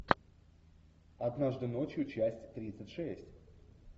однажды ночью часть тридцать шесть